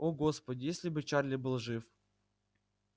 о господи если бы чарли был жив